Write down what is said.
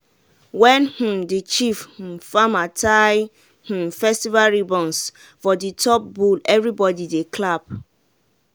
when um the chief um farmer tie um festival ribbons for the top bull everybody dey clap.